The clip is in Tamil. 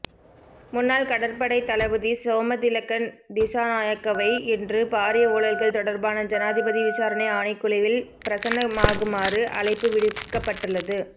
முன்னாள் கடற்படை தளபதி சோமதிலக்க திஸாநாயக்கவை இன்று பாரிய ஊழல்கள் தொடர்பான ஜனாதிபதி விசாரணை ஆணைக்குழுவில் பிரசன்னமாகுமாறு அழைப்பு விடுக்கப்பட்டுள்ளது